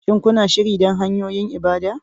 Shin kuna shirye don hanyoyin ibada?